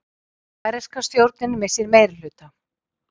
Færeyska stjórnin missir meirihluta